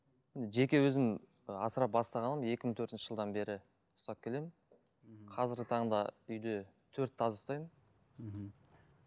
жеке өзім ы асырап бастағаным екі мың төртінші жылдан бері ұстап келемін қазіргі таңда үйде төрт тазы ұстаймын мхм